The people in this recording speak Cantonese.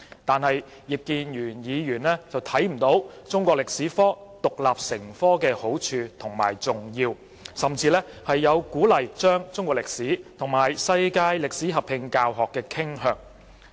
但是，葉議員看不到中史科獨立成科的好處和重要，甚至有鼓勵將中史與世界歷史合併教學的傾向。